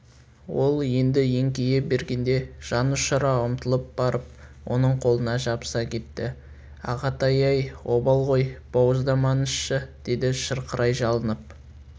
ол енді еңкейе бергенде жан ұшыра ұмтылып барып оның қолына жабыса кетті ағатай-ай обал ғой бауыздамаңызшы деді шырқырай жалынып